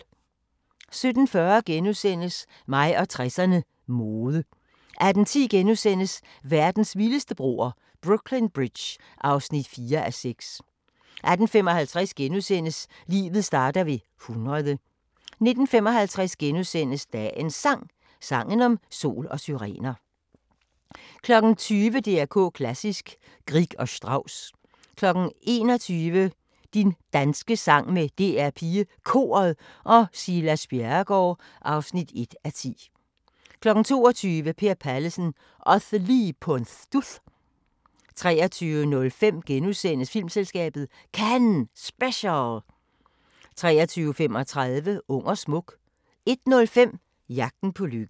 17:40: Mig og 60'erne: Mode * 18:10: Verdens vildeste broer – Brooklyn Bridge (4:6)* 18:55: Livet starter ved 100 * 19:55: Dagens Sang: Sangen om sol og syrener * 20:00: DR K Klassisk: Grieg og Strauss 21:00: Din danske sang med DR PigeKoret og Silas Bjerregaard (1:10) 22:00: Per Pallesen – osse lige på en studs! 23:05: Filmselskabet – CANNES SPECIAL * 23:35: Ung og smuk 01:05: Jagten på lykken